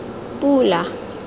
pula